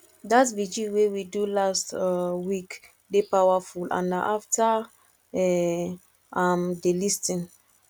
dat vigil wey we do last um week dey powerful and na after um am dey lis ten